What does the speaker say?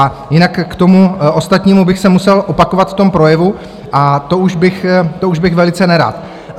A jinak k tomu ostatnímu bych se musel opakovat v tom projevu a to už bych velice nerad.